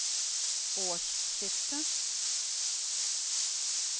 årsskiftet